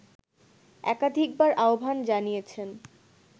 একাধিকবার আহ্বান জানিয়েছেন